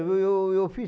eu fiz